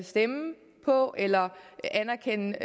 stemme på eller anerkende